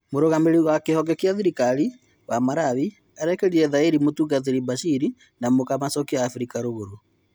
Mũrũgamĩrĩri ya kĩhonge gia thirikari wa Marawi arekĩrire thaĩri mũtungatĩri Bashiri na mũka macokĩo Afirika Rũgũrũ.